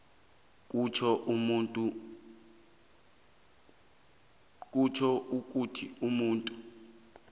kutjho ukuthi umuntu